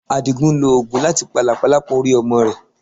Àdìgún ń lo oògùn láti pa làpálàpá orí ọmọ rẹ̀.